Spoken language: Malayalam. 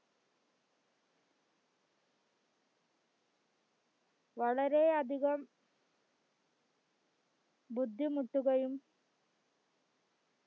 വളരെയധികം ബുദ്ദിമുട്ടുകയു